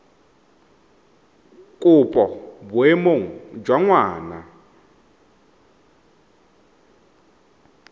kopo mo boemong jwa ngwana